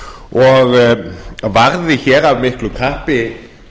og varði hér af miklu kappi